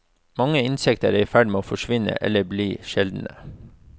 Mange insekter er i ferd med å forsvinne eller bli sjeldne.